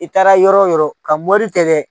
I taara yɔrɔ yɔrɔ ka mori tɛ dɛ.